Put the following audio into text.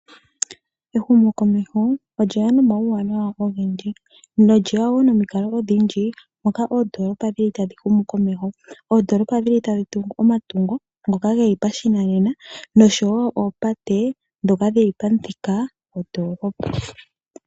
Ehumokomeho olyeya nomawuwanawa ogendji nolyeya woo nomikalo odhindji moka oondoolopa dhili tadhi humu komeho . Oondoolopa tadhi tungu omatungo ngoka gopashinanena oshowo oopate ndhoka dhili pamuthika gondoolopa.